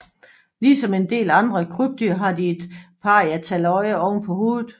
Ligesom en del andre krybdyr har de et parietaløje oven på hovedet